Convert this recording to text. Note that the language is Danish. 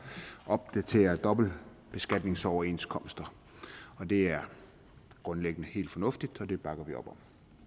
at opdatere dobbeltbeskatningsoverenskomster det er grundlæggende helt fornuftigt og det bakker vi op om